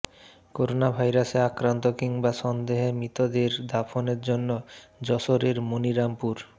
করোনাভাইরাসে আক্রান্ত কিংবা সন্দেহে মৃতদের দাফনের জন্য যশোরের মনিরামপুর